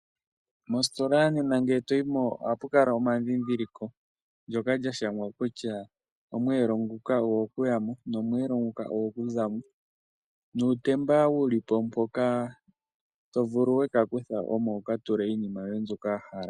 Mositola nena ngele to yi mo ohapu kala omadhidhiliko ga shangwa kutya omweelo nguka ogwo kuya mo, nomweelo nguka ogwo ku za mo. Nuutemba wu li po mpoka to vulu we ka kutha omo wu ka tule iinima yoye mbyoka wa hala.